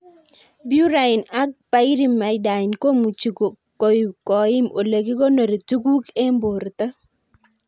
Purine ak pyrimidine komuchi koim ole kikonori tuguk eng' porto